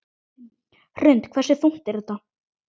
Hrund: Hversu þungt er þetta?